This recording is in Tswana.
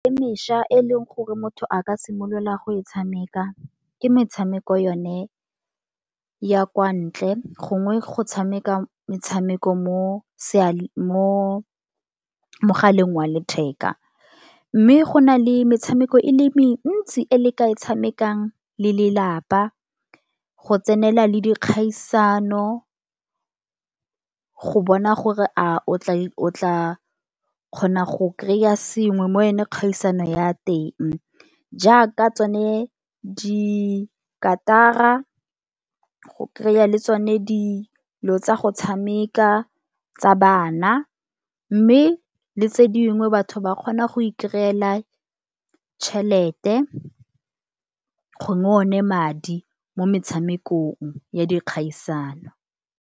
E mešwa e leng gore motho a ka simolola go e tshameka. Ke metshameko yone ya kwa ntle, gongwe go tshameka metshameko mo mogaleng wa letheka. Mme go na le metshameko e le mentsi, e le ka e tshamekang le le lapa. Go tsenela le dikgaisano go bona gore o tla kgona go kry-a sengwe mo go yone kgaisano ya teng, jaaka tsone dikatara go kry-a le tsone dilo tsa go tshameka tsa bana. Mme le tse dingwe batho ba kgona go e kry-ela tšhelete gongwe o ne madi. Mo metshamekong ya dikgaisano.